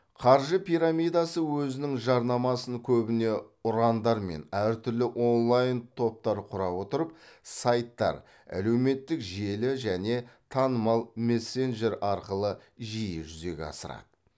қаржы пирамидасы өзінің жарнамасын көбіне ұрандармен әр түрлі онлайн топтар құра отырып сайттар әлеуметтік желі және танымал мессенджер арқылы жиі жүзеге асырады